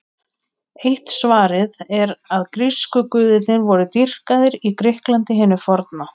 Eitt svarið er að grísku guðirnir voru dýrkaðir í Grikklandi hinu forna.